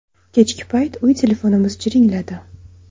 Kechki payt uy telefonimiz jiringladi.